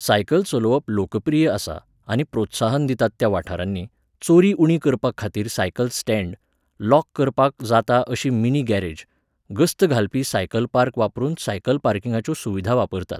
Cycle चलोवप लोकप्रिय आसा आनी प्रोत्साहन दितात त्या वाठारांनी, चोरी उणी करपाखातीर सायकल स्टँड, लॉक करपाक जाता अशी मिनी गॅरेज, गस्त घालपी सायकल पार्क वापरून सायकल पार्किंगाच्यो सुविधा वापरतात.